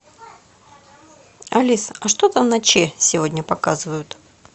алиса а что там на че сегодня показывают